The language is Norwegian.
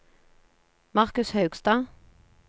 Marcus Haugstad